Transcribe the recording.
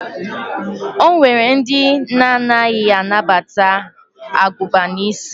O nwere ndị na-anaghị anabata agụba n'isi.